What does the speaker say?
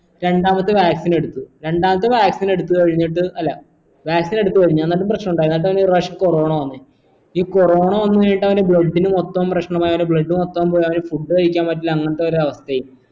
രണ്ടാമത്തെ vaccine എടുത്തു രണ്ടാമത്തെ vaccine എടുത്തു കഴിഞ്ഞിട്ട് അല്ല vaccine എടുത്തു കഴിഞ്ഞു എന്നിട്ടു പ്രശ്നമുണ്ടായി എന്നീട്ടാനൊരു പ്രാവിശ്യം corona വന്നു ഈ corona വന്ന് കയ്‌നിട്ടാ അവൻ്റെ blood ഇൻ മൊത്തം പ്രേഷമായി അവൻ്റെ blood മൊത്തം കൊളായി food കഴിക്കാൻ പറ്റില്ല അങ്ങനത്തൊരു അവസ്ഥയായി